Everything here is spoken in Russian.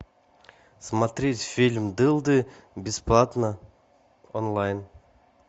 смотреть фильм дылды бесплатно онлайн